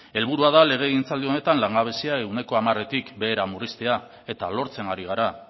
helburua da legegintzaldi honetan langabezia ehuneko hamaretik behera murriztea eta lortzen ari gara